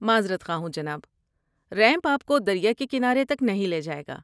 معذرت خواہ ہوں جناب. ریمپ آپ کو دریا کے کنارے تک نہیں لے جائے گا۔